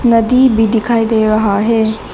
नदी भी दिखाई दे रहा है।